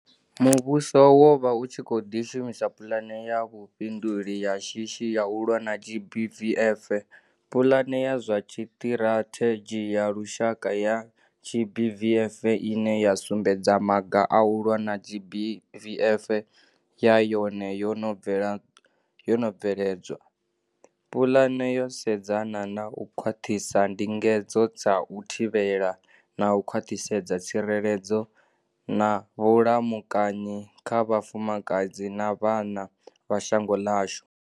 Muvhuso wo vha u tshi khou ḓi shumisa pulane ya vhufhi nduli ya shishi ya u lwa na GBVF.Pulane ya zwa Tshiṱirathe dzhi ya Lushaka ya GBVF, ine ya sumbedza maga a u lwa na GBVF, na yone yo no bvele dzwa. Pulane yo sedzana na u khwaṱhisa ndingedzo dza u thivhela, na u kwaṱhisedza tsireledzo na vhulamukanyi kha vhafumakadzi na vhana vha shango ḽashu.